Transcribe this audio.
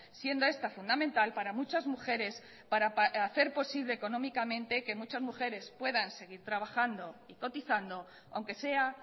siendo esta fundamental para muchas mujeres para hacer posible económicamente que muchasmujeres puedan seguir trabajando y cotizando aunque sea